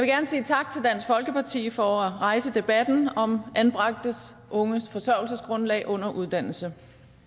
gerne sige tak til dansk folkeparti for at rejse debatten om anbragte unges forsørgelsesgrundlag under uddannelse